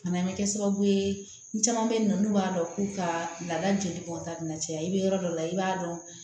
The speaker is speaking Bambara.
Fana bɛ kɛ sababu ye ni caman bɛ yen nɔ n'u b'a dɔn k'u ka laada joli kɔnɔna caya i bɛ yɔrɔ dɔ la i b'a dɔn